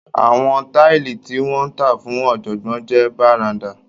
Àwọn táìlì tí wọn tà fún ọ̀jọ̀gbọ́n jẹ barandá.